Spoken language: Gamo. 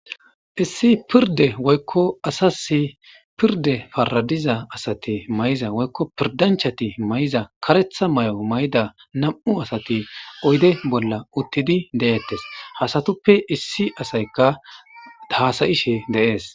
issi pirde woykko asasi pirde faradiza asati mayza woykko pirdanchati may7za karetha may7o mayda nam7u asati oyde bolla uttidi deettes hasatuppe issi asayka daasayishe deees